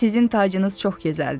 sizin tacınız çox gözəldir.